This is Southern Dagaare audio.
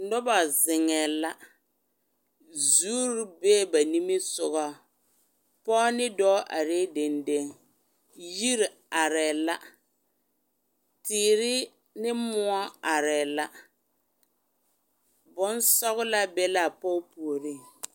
Noba zeŋɛɛ la, zuri bee ba nimisogɔ pɔge ne dɔɔ arɛɛ dendeŋ, yiri arɛɛ la, teere ne moɔ arɛɛ la, bonsɔgelaa be la a pɔge puoriŋ.